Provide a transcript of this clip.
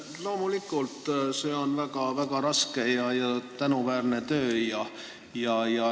Loomulikult on see väga raske ja tänuväärne töö.